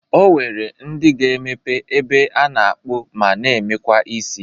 O nwere ndị ga-emepe ebe a na-akpụ ma na-emekwa isi.